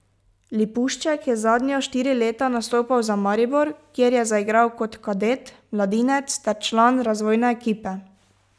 Lipušček je zadnja štiri leta nastopal za Maribor, kjer je zaigral kot kadet, mladinec ter član razvojne ekipe.